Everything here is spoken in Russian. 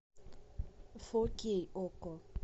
фо кей окко